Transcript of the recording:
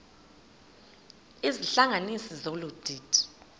izihlanganisi zolu didi